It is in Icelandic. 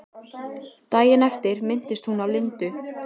Daginn eftir minntist hún á Lindu.